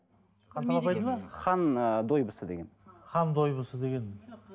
ханталапайды ма хан ы дойбысы деген хан дойбысы деген